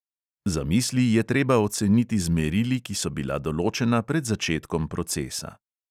Zamisli je treba oceniti z merili, ki so bila določena pred začetkom procesa.